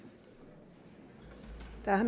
her